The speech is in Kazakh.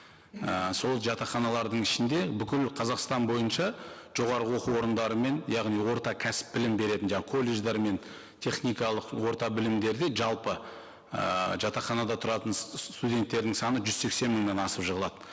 і сол жатақханалардың ішінде бүкіл қазақстан бойынша жоғарғы оқу орындарымен яғни орта кәсіп білім беретін колледждер мен техникалық орта білімдерде жалпы ііі жатақханада тұратын студенттердің саны жүз сексен мыңнан асып жығылады